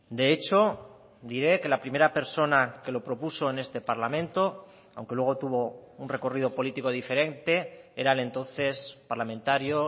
de hecho diré que la primera persona que lo propuso en este parlamento aunque luego tuvo un recorrido político diferente era el entonces parlamentario